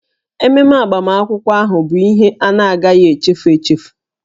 Ememe agbamakwụkwọ ahụ bụ ihe a na-agaghị echefu echefu